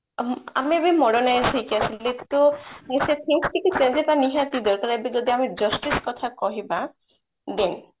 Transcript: ତ ଆମେ ଏବେ modernization କିନ୍ତୁ things କିଛି changes ନିହାତି ଦରକାର ଆମେ ଯଦି ଏବେ justice କଥା କହିବା ଦେଖ